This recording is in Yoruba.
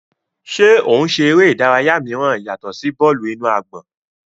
Ṣe o ń ṣe ere idaraya miiran yatọ si bọọlu-inu-agbọn?